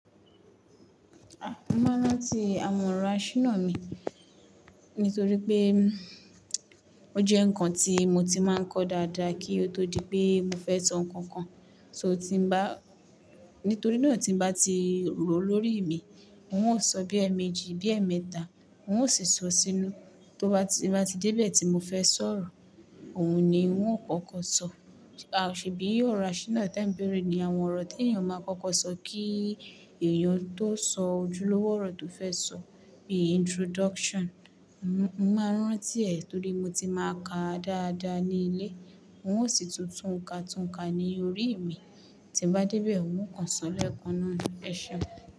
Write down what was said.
A! Mo máa ń rántí àwọn ọ̀rọ̀ àṣínà mi nítorí pé ó jẹ́ nǹkan tí mo ti máa ń kọ dáadáa kí ó tó di pé mo fẹ́ sọ nǹkan kan, ṣe ò tí bá nítorí náà tí bá ti rọ lórí mi, n óò sọ bí ẹẹ̀ méjì, bí ẹẹ̀ mẹ́ta, n óò sì sọ sínú, tó bá ti dé ibẹ̀ tí mo fẹ́ sọ̀rọ̀, òun ni ń ó kọ́kọ́ sọ. A ò ṣe bí ọ̀rọ̀ àṣínà tí é ń béèrè ní àwọn ọ̀rọ̀ tí ènìyàn máa ń kọ́kọ́ sọ kí èèyàn tó sọ ojúlówó ọ̀rọ̀ tó fẹ́ sọ, bí i introduction. Mo máa ń rántí ẹ̀ nítorí mo ti máa ka á dáadáa ní ilé, n óò sì tún túnka túnka ní orí mí, tí bá dé ibẹ̀, n ó kàn sọlẹ́kan náà ní ẹsẹ.